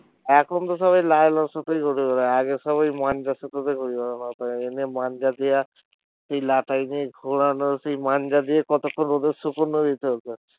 এখন তো সবাই লাইলন সুতোই করে আগে সবাই মাঞ্জা সুতো বেশি ব্যাবহার মাঞ্জা দেয়া এই লাটাই নিয়ে ওড়ানো সেই মাঞ্জা দিয়ে কতক্ষন রোদে শুকানো